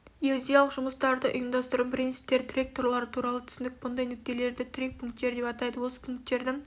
геодезиялық жұмыстарды ұйымдастырудың принциптері тірек торлары туралы түсінік бұндай нүктелерді тірек пунктері деп атайды осы пунктердің